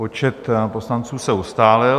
Počet poslanců se ustálil.